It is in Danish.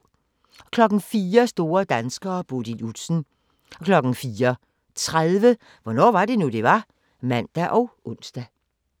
04:00: Store danskere: Bodil Udsen 04:30: Hvornår var det nu, det var? (man og ons)